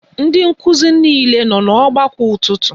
Ndị nkụzi niile nọ n'ọgbakọ ụtụtụ?